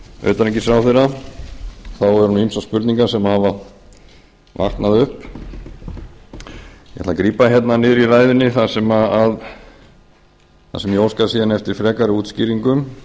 utanríkisráðherra eru nú ýmsar spurningar sem hafa vaknað upp ég ætla að grípa hérna niður í ræðunni þar sem ég óska síðan eftir frekari útskýringum